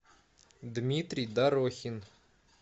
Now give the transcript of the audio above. дмитрий дорохин